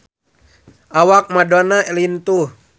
Awak Madonna lintuh